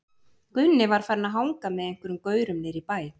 Gunni var farinn að hanga með einhverjum gaurum niðri í bæ.